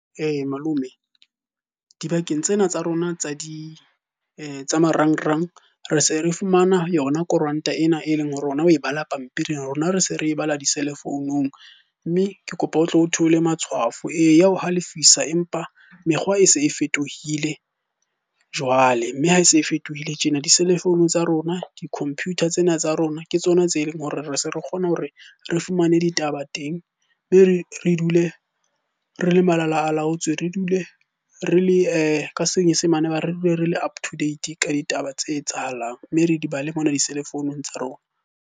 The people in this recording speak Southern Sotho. Malome dibakeng tsena tsa rona tsa di tsa marangrang, re se re fumana yona koranta ena e leng oe bala pampiring rona re se re bala di-cellphone-ung. Mme ke kopa o tlo theolle matshwafo. Ee, ya o halefisa, empa mekgwa e se e fetohile jwale. Mme ha e se e fetohile tjena, di-cellphone tsa rona, di-computer tsena tsa rona ke tsona tse leng hore re se re kgona hore re fumane ditaba teng, mme re dule re le malalaalaotswe. Re dule re le ka senyesemanba re dule re le up to date ka ditaba tse etsahalang. Mme re di bale mona di-cellphone tsa rona.